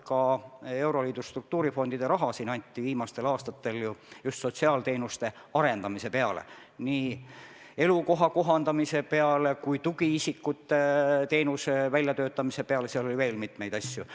Ka euroliidu struktuurifondide raha on viimastel aastatel antud just sotsiaalteenuste arendamiseks, nii elukoha kohandamiseks kui ka tugiisikute teenuse väljatöötamiseks ja veel mitmeks muuks asjaks.